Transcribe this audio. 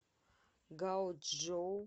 гаочжоу